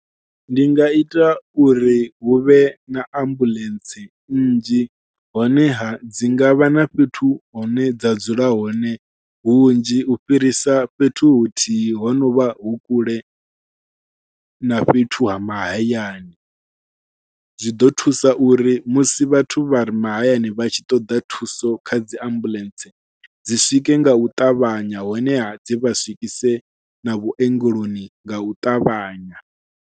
Ndi nga ita uri huvhe na ambuḽentse nnzhi honeha dzi ngavha na fhethu hune dza dzula hone hunzhi u fhirisa fhethu huthihi ho novha hu kule na fhethu ha mahayani, zwi ḓo thusa uri musi vhathu vha re mahayani vha tshi ṱoḓa thuso kha dzi ambuḽentse dzi swike ngau ṱavhanya honeha dzi vha swikise na vhuongeloni ngau ṱavhanya.